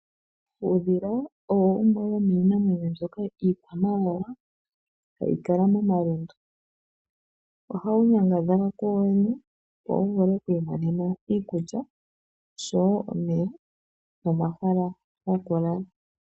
Uudhila owo wumwe wo miinamwenyo mbyoka iikwamawawa hayi kala moma lundu. Oha wu nyangadhala ku woowene wo wuvule oku imonena iikulya nosho wo omeya nomahala goku lala.